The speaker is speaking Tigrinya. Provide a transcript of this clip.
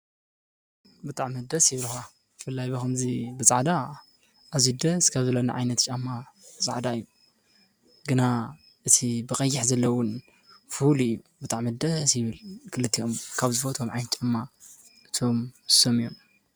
።ጣዕ መደ ኣይብርኻ ፍላይ በኸምዙይ ብጻዕዳ ኣዙደ ዝከብብሎኒ ዓይነት ጫማ ፃዕዳ እዩ ግና እቲ ብቐይሕ ዘለዉን ፍሁልእዩ ብጣዕ መደ ስይብል ክልትኦም ካብ ዝበቶም ዓን ጨማ እቶም ሰም እዮም።